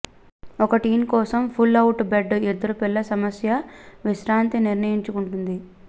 ఒక టీన్ కోసం pull out bed ఇద్దరు పిల్లలు సమస్య విశ్రాంతి నిర్ణయించుకుంటుంది